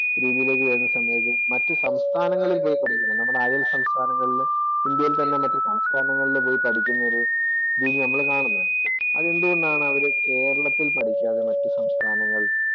രീതിയിലേക്ക് വരുന്ന സമയത്ത് മറ്റ് സംസ്ഥാനങ്ങളിൽ പോയി പഠിക്കുന്നു. നമ്മുടെ അയല്‍ സംസ്ഥാനങ്ങളില്‍ ഇന്ത്യയില്‍ തന്നെയുള്ള മറ്റു സംസ്ഥാനങ്ങളിൽ പോയി പഠിക്കുന്ന ഒരു രീതിയാണ് നമ്മള് കാണുന്നേ. അത് എന്തുകൊണ്ടാണ് അവര് കേരളത്തിൽ പഠിക്കാതെ മറ്റു സംസ്ഥാനങ്ങളിൽ